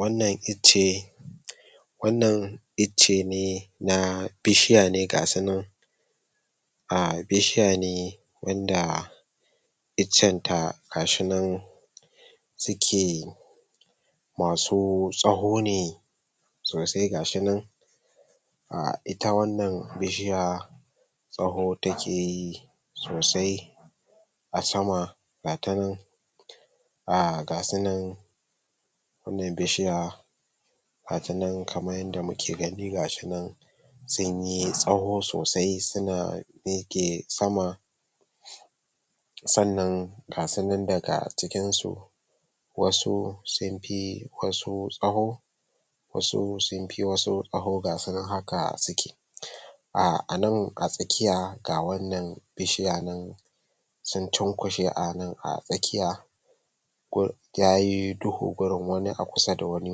Wannan ice wannan ice ne na bishiya ne ga su nan bishiya ne wanda icen ta ga shi nan su ke masu tsaho ne sosai gashi nan[um] ita wannan bishiya tsaho take sosai a sama ga ta nan ga su nan bishiya gata nan[um] kamar yadda muke gani gashi nan sun yi tsaho sosai suna mike sama sannan ga su nan daga cikin su wasu sun fi wasu tsaho ga su nan haka su ke[um] anan a tsakiya ga wannan bishiya nan sun cunkushe a nan a tsakiya yayi duhu gurin wani a kusa da wani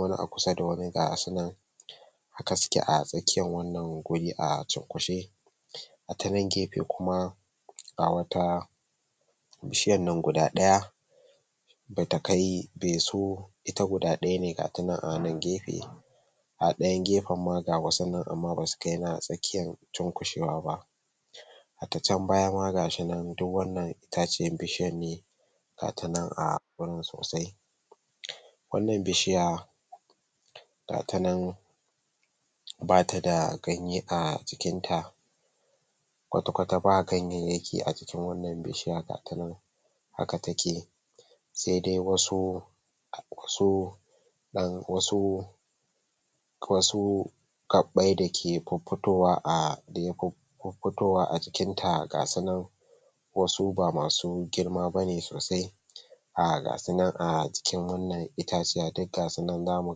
wani a kusa da wani ga su nan haka su ke a tsakiyar wannan guri a cunkushe a ta nan gefen kuma ga wata bishiyar nan guda daya bata kai bai so ba ita guda daya ne gata nan anan gefen a dayan gefen ma ga wasu nan amma ba su kai na tsakiyar cunkushewa ba harda can baya ma gashi nan duk wannan itaciyar bishiyar ne gata nan a gurin sosai wannan bishiya gata nan ba ta da ganye a jikinta kwata kwata ba ganyayyaki a jikin wannan bishiya gata nan haka take sai dai wasu wasu wasu gabbai da ke fuffitowa a jikin ta gasu nan wasu ba masu girma bane sosai ga su nan a jikin wannan itaciya duk gasu nan za mu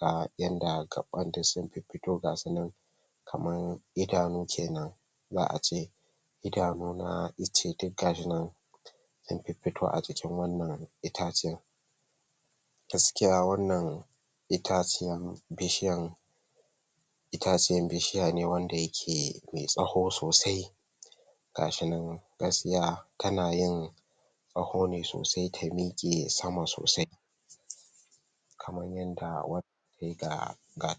ga yadda gabban ta sun fuffuto ga su nan kamar idanu kenan za'a ce idanu na ice duk gashi nan sun fuffito a jikin wannan itaciya gaskiya wannan itaciyan bishiyan, itaciyan bishiya ne wanda yake me tsaho sosai ga su nan gaskiya tana yin tsaho ne sosai ta mike sama sosai kamar yadda-gata nan.